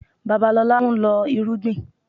Babalọlá ń lọ́ irúgbìn